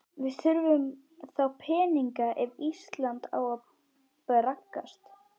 Við þurfum þá peninga ef Ísland á að braggast.